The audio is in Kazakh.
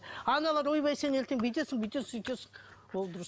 аналар ойбай сен ертең бүйтесің бүйтесің сөйтесің